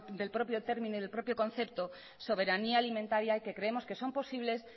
del propio término y del propio concepto soberanía alimentaria y que creemos que son posibles